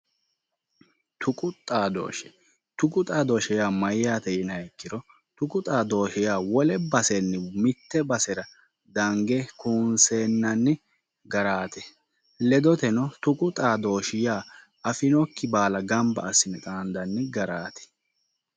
Tuqu xaadooshshe, tuqu xaadooshshe yaa mayyaate yiniha ikkiro, tuqu xaadooshshi yaa wole basenni mitte basera dange kuunseennanni garaati. ledoteno tuqu xaadooshshi yaa afinokki baala gamba assine xaandanni garaati.